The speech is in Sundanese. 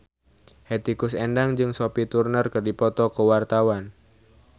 Hetty Koes Endang jeung Sophie Turner keur dipoto ku wartawan